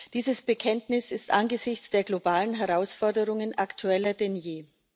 Dieses Bekenntnis ist angesichts der globalen Herausforderungen aktueller denn je.